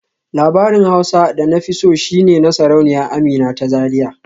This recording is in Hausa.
Labarin Hausa da na fi so shi ne na Sarauniya Amina ta Zariya